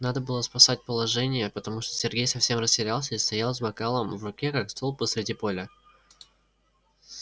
надо было спасать положение потому что сергей совсем растерялся и стоял с бокалом в руке как столб посреди поля